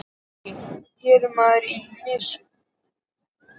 SKÚLI: Hér er maðkur í mysu.